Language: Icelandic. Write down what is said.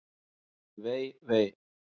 Vei, vei!